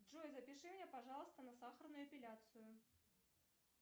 джой запиши меня пожалуйста на сахарную эпиляцию